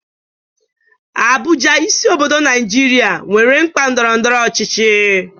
Abuja, isi obodo Naijiria, nwere mkpa ndọrọ ndọrọ ọchịchị.